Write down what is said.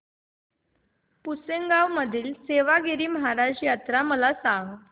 पुसेगांव येथील सेवागीरी महाराज यात्रा मला सांग